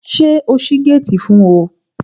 Ṣé o ṣí géètì fún ọ?